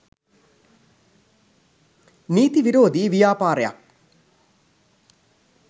නීති විරෝධී ව්‍යාපාරයක්‌.